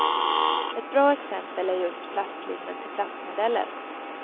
Ett bra exempel är just plastlimmen till plastmodeller.